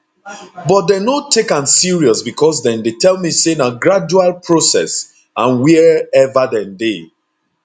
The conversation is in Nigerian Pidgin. but dem no take am serious becos dem dey tell me say na gradual process and wia ever dem dey